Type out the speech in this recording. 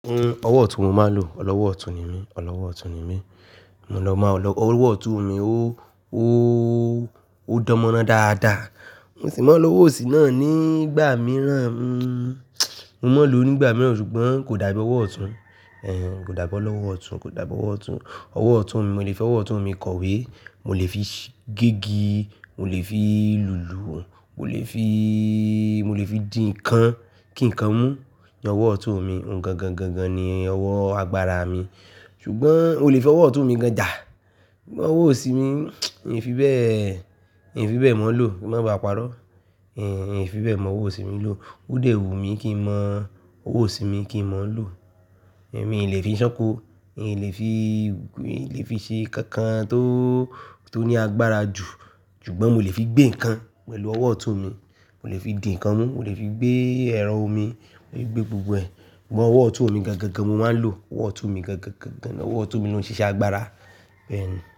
Ọwọ́ ọ̀tún mo máa ń lò, ọlọ́wọ́ ọ̀tún ni mí, ọlọ́wọ́ ọ̀tún ni mí. Mo lọ máa lò ọwọ́ ọ̀tún mi, ó, ó, ó dánmọ́nà dáadáa. Mo sì máa ń lo ọwọ́ òsì náà nígbà mìíràn. Mo máa ń lò ó nígbà mìíràn ṣùgbọ́n kò dàbí ọwọ́ ọ̀tún. Ehn, kò dàbí ọlọ́wọ́ ọ̀tún, kò dàbí ọwọ́ ọ̀tún. Ọwọ́ ọ̀tún mi, mo lè fi ọwọ́ ọ̀tún mi kọ̀wé, mo lè fi gégi, mo lè fi lùlù òun, mo lè fi, mo lè fi dín ǹkan kí ǹkan mú. Ni ọwọ́ ọ̀tún mi, oun gan gan gan gan ni ọwọ́ agbára mi. Ṣùgbọ́n mo lè fi ọwọ́ ọ̀tún mi gan jà. Ṣùgbọ́n ọwọ́ òsì mi n fi bẹ́ẹ̀, n fi bẹ́ẹ̀ mọ̀ ń lò ó, kí má ba à parọ́. Ehn, n fi bẹ́ẹ̀ mọ ọwọ́ òsì mi lò. Ó dẹwu mí kí n mọ ọwọ́ òsì mi kí n mọ̀ ń lò. Ń mí ì lè fi ṣánko, n lè fi, n lè fi ṣe nkankan tó, tó ní agbára jù. Ṣùgbọ́n mo lè fi gbé ǹkan pẹ̀lú ọwọ́ ọ̀tún mi, mo lè fi dín ǹkan mú, mo lè fi gbé ẹ̀rọ omi, mo lè gbé gbogbo ẹ̀. Ṣùgbọ́n ọwọ́ ọ̀tún mi gan gan gan mo máa ń lò, ọwọ́ ọ̀tún mi gan gan gan gan, ọwọ́ ọ̀tún mi ló ń ṣiṣẹ́ agbára. Bẹ́ẹ̀ni.